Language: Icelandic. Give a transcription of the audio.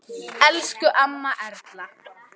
Elsku amma Erla.